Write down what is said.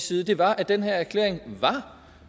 side var at den her erklæring var